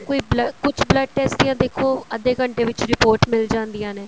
ਕੋਈ blood ਕੁੱਝ blood test ਜਾਂ ਦੇਖੋ ਅੱਧੇ ਘੰਟੇ ਵਿੱਚ report ਮਿਲ ਜਾਂਦੀਆਂ ਨੇ